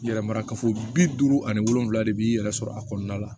Yɛrɛmarakafo bi duuru ani wolonfila de b'i yɛrɛ sɔrɔ a kɔnɔna la